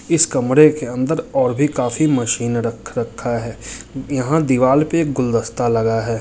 इस कमरे के अंदर और भी काफी मशीन रख रखा है यहाँ दीवाल पे एक गुलदस्ता लगा है।